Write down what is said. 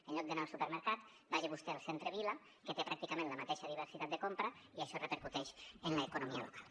en lloc d’anar al supermercat vagi vostè al centre vila que té pràcticament la mateixa diversitat de compra i això repercuteix en l’economia local